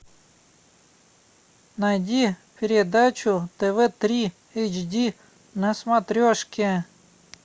найди передачу тв три эйч ди на смотрешке